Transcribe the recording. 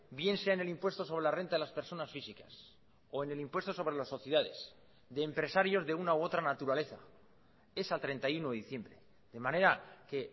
bien sea en el impuesto sobre la renta de las personas físicas o en el impuesto sobre las sociedades de empresarios de una u otra naturaleza es a treinta y uno de diciembre de manera que